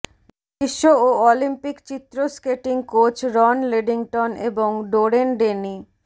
বিশ্ব ও অলিম্পিক চিত্র স্কেটিং কোচ রন লিডিংটন এবং ডোরেেন ডেনি